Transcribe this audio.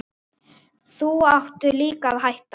Þá áttu líka að hætta.